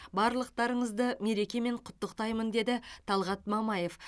барлықтарыңызды мерекемен құттықтаймын деді талғат мамаев